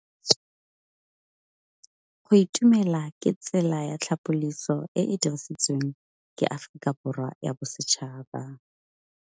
Go itumela ke tsela ya tlhapolisô e e dirisitsweng ke Aforika Borwa ya Bosetšhaba.